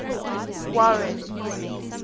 warren's